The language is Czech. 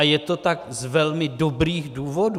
A je to tak z velmi dobrých důvodů.